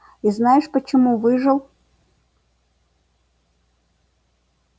и знаешь почему выжил